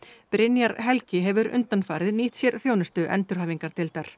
Brynjar Helgi hefur undanfarið nýtt sér þjónustu endurhæfingardeildar